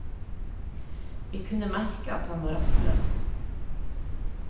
Vi kunne merke at han var rastløs.